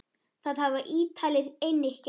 Það hafa Ítalir einnig gert.